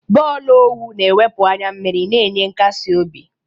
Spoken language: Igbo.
Bọọlụ owu na-ewepụ anya mmiri, na-enye nkasi obi.